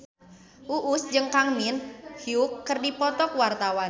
Uus jeung Kang Min Hyuk keur dipoto ku wartawan